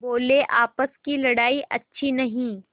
बोलेआपस की लड़ाई अच्छी नहीं